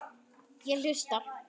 Ég hlusta.